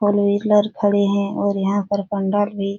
four wheeler खड़े है और यहाँ पर पंडाल भी --